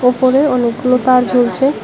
উপরে অনেকগুলো তার ঝুলছে।